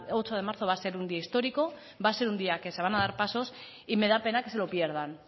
ocho de marzo va a ser un día histórico va a ser un día que se van a dar pasos y me da pena que se lo pierdan